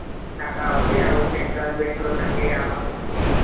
ଖାତା ଅଛି ଆଉ central bank ର ସାଙ୍ଗେ ଆମର କିଛି